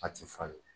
A ti falen